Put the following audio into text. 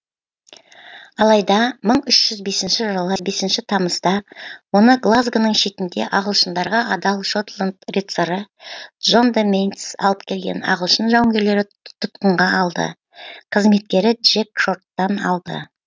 алайда мың үш жүз бесінші жылы бесінші тамызда оны глазгоның шетінде ағылшындарға адал шотланд рыцары джон де ментейс алып келген ағылшын жауынгерлері тұтқынға алды қызметкері джек шорттан алды